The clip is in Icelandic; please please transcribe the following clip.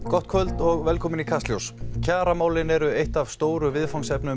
gott kvöld og velkomin í Kastljós kjaramálin eru eitt af stóru viðfangsefnum